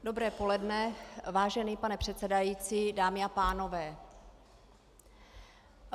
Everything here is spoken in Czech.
Dobré poledne, vážený pane předsedající, dámy a pánové.